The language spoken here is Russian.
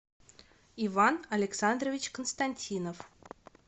иван александрович константинов